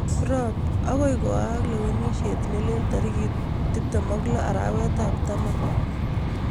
Kiprop: Agoi koaak kalewenishet nelel tarik ap 26 arawet ap Oktoba